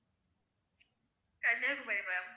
Kanyakumari ma'am